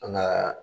An ka